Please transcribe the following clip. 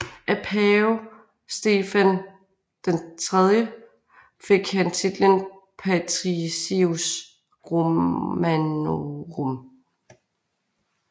Af pave Stefan III fik han titlen Patricius romanorum